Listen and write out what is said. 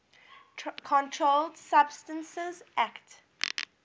controlled substances acte